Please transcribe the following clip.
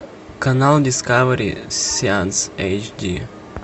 канал дискавери сеанс эйчди